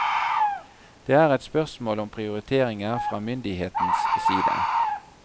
Det er et spørsmål om prioriteringer fra myndighetens side.